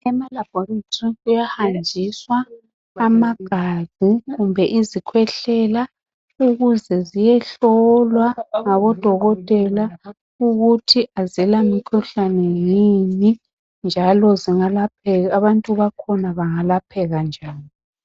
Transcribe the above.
Ema laboratory kuyahanjiswa amagazi kumbe izikhwehlela ukuze ziyehlolwa ngabodokotela ukuthi azila mikhuhlane yini njalo abantu bakhona bengalapheka njani.